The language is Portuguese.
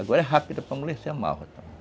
Agora é rápida para amolecer a malva.